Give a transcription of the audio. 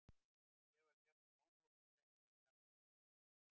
Mér var gjarnan ómótt og setti það í samband við hitann.